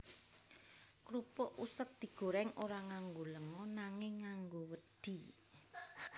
Krupuk useg digorèng ora nganggo lenga nanging nganggo wedhi